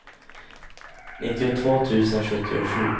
nittiotvå tusen sjuttiosju